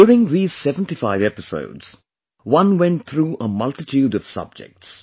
During these 75 episodes, one went through a multitude of subjects